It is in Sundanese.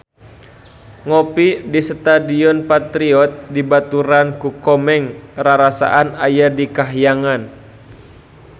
Ngopi di Stadion Patriot dibaturan ku Komeng rarasaan aya di kahyangan